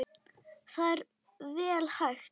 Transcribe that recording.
Það er vel hægt.